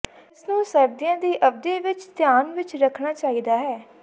ਇਸ ਨੂੰ ਸਰਦੀਆਂ ਦੀ ਅਵਧੀ ਵਿਚ ਧਿਆਨ ਵਿਚ ਰੱਖਣਾ ਚਾਹੀਦਾ ਹੈ